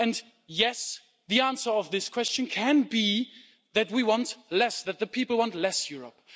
And yes, the answer to this question can be that we want less, that the people want less Europe.